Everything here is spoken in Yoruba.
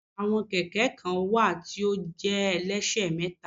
Àwọn Kẹ̀kẹ́ kan wà tí ó jẹ́ ẹlẹ́ṣẹ̀mẹ́ta